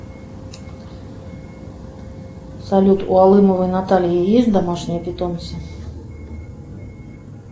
салют у алымовой натальи есть домашние питомцы